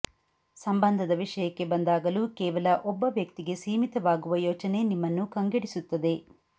ಸಂಬಂಧದ ವಿಷಯಕ್ಕೆ ಬಂದಾಗಲೂ ಕೇವಲ ಒಬ್ಬ ವ್ಯಕ್ತಿಗೆ ಸೀಮಿತವಾಗುವ ಯೋಚನೆ ನಿಮ್ಮನ್ನು ಕಂಗೆಡಿಸುತ್ತದೆ